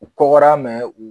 U kɔgɔra mɛ u